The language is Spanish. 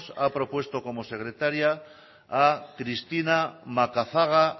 ha propuesto como secretaria a cristina macazaga